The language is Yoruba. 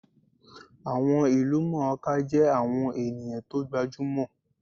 Àwọn ìlúmọọká jẹ́ àwọn ènìyàn tó gbajúmò